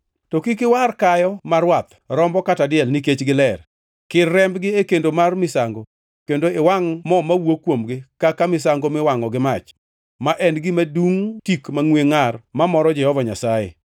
“To kik iwar kayo ma rwath, rombo kata diel; nikech giler. Kir rembgi e kendo mar misango kendo iwangʼ mo mawuok kuomgi kaka misango miwangʼo gi mach, ma en gima dungʼ tik mangʼwe ngʼar mamoro Jehova Nyasaye.